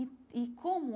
E e como...